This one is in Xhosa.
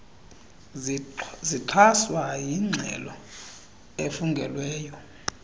zixhaswa yingxelo efungelweyo